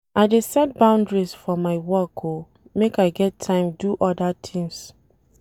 I dey set boundaries for my work o make I get time do oda tins.